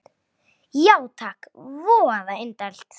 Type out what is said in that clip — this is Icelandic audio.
Já takk, voða indælt